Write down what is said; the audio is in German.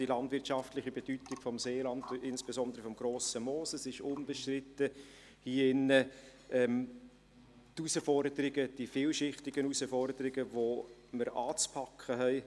Die landwirtschaftliche Bedeutung des Seelands und insbesondere des Grossen Mooses ist hier im Saal unbestritten, und unbestritten sind hier auch die vielschichtigen Herausforderungen, die wir anzupacken haben.